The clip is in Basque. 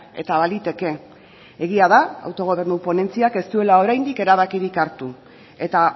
eta baliteke egia da autogobernu ponentziak ez duela oraindik erabakirik hartu eta